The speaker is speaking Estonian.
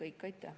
Aitäh!